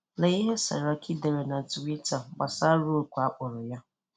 Lee ihe Saraki dere na Twitter gbasara oku a kpọrọ ya.